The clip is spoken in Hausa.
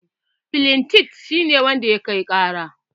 Flentif shi ne wanda ya kai ƙara